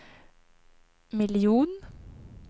miljon